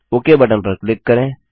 okay button पर click करें